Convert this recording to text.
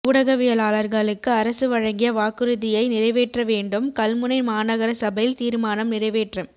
ஊடகவியலாளர்களுக்கு அரசு வழங்கிய வாக்குறுதியை நிறைவேற்றவேண்டும் கல்முனை மாநகர சபையில் தீர்மானம் நிறைவேற்றம்